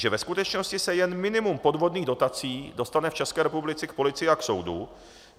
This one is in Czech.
Že ve skutečnosti se jen minimum podvodných dotací dostane v České republice k policii a k soudu.